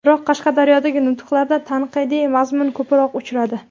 Biroq Qashqadaryodagi nutqlarida tanqidiy mazmun ko‘proq uchradi.